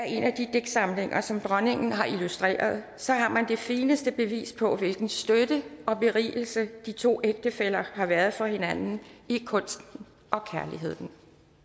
digtsamlinger som dronningen har illustreret så har man det fineste bevis på hvilken støtte og berigelse de to ægtefæller har været for hinanden i kunsten og kærligheden